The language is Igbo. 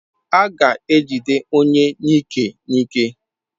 A ga-ejide onye n'ike n'ike.